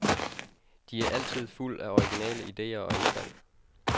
De er altid fuld af originale ideer og indfald.